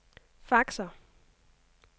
faxer